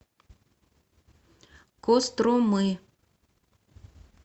костромы